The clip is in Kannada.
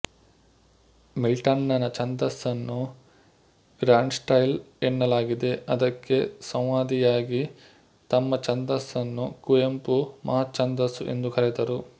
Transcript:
ಮಿಲ್ಟನ್ನನ ಛಂದಸ್ಸನ್ನು ಗ್ರಾಂಡ್ಸ್ಟೈಲ್ ಎನ್ನಲಾಗಿದೆ ಅದಕ್ಕೆ ಸಂವಾದಿಯಾಗಿ ತಮ್ಮ ಛಂದಸ್ಸನ್ನು ಕುವೆಂಪು ಮಹಾಛಂದಸ್ಸು ಎಂದು ಕರೆದರು